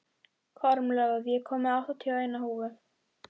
Kormlöð, ég kom með áttatíu og eina húfur!